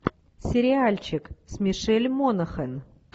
сериальчик с мишель монахэн